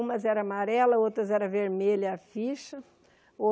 Umas eram amarelas, outras eram vermelhas as fichas.